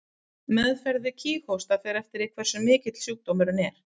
Meðferð við kíghósta fer eftir hversu mikill sjúkdómurinn er.